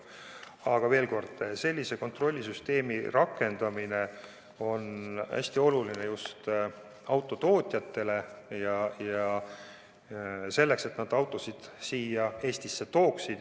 Aga veel kord: sellise kontrollisüsteemi rakendamine on hästi oluline just autotootjatele ja selleks, et nad autosid siia Eestisse tooksid.